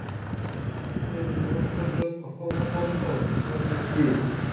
এদের রোগ প্রতিরোধ ক্ষমতা কম তো এই কারণে